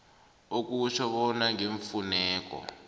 okutjho bona ngeemfuneko